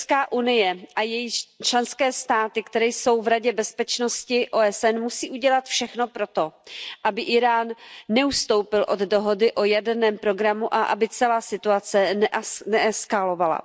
EU a její členské státy, které jsou v Radě bezpečnosti OSN, musí udělat všechno pro to, aby Írán neustoupil od dohody o jaderném programu a aby celá situace neeskalovala.